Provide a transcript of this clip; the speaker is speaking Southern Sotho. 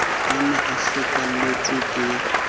a ne a hlokahelletswe ke